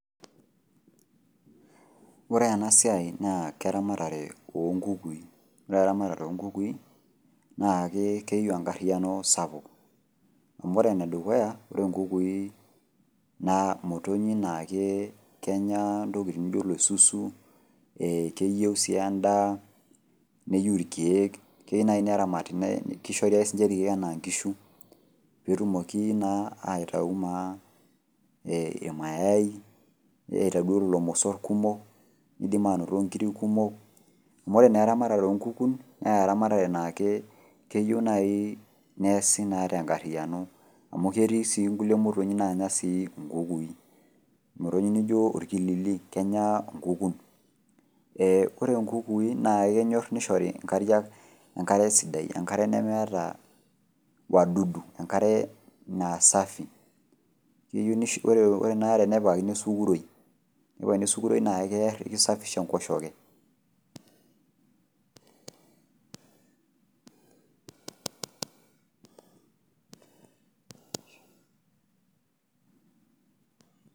Ore enasiai naa eramatare onkukui naa ore eramatare naa keyieu enkariano sapuk amu ore enedukuya ore nkukui naa kenya ntokitin naijo enkoilepo , keyieu si endaa neyieu irkiek , keyieu nai neramati ,kishori ake irkiek anaa nkishu , petumoki naa aitayu naa irmayai , niim anoto irmosor kumok , nidim anoto nkiri kumok , amu ore eramatare onkukun naa keyieu neasi tenkariano .